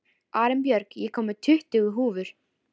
Arinbjörg, ég kom með tuttugu húfur!